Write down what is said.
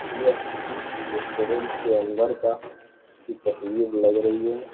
यह किसी रेस्टोरेंट के अंदर का की तस्वीर लग रही है।